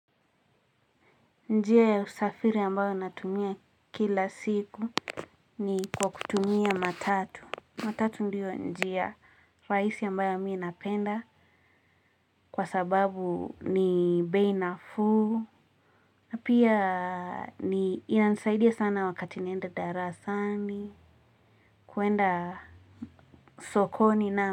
Njia ya usafiri ambayo natumia kila siku ni kwa kutumia matatu. Matatu ndiyo njia rahisi ambayo mimi napenda kwa sababu ni bei nafuu na pia ni inanisaidia sana wakati naenda darasani. Kwenda sokoni na.